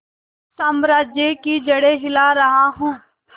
साम्राज्य की जड़ें हिला रहा हूं